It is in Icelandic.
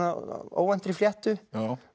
óvæntri fléttu mér